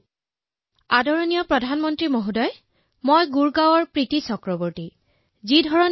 নমস্কাৰ মাননীয় প্ৰধানমন্ত্ৰী ডাঙৰীয়া মই গুৰগাঁৱৰ পৰা প্ৰীতি চতুৰ্বেদীয়ে কৈছো